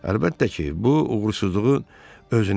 Əlbəttə ki, bu uğursuzluğun özünədir.